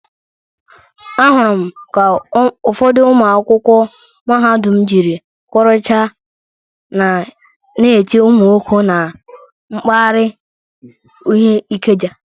Ahụrụ m ka ụfọdụ ụmụ akwụkwọ mahadum jiri kwọrụcha na-eche ụmụ nwoke na mpaghara uhe Ikeja.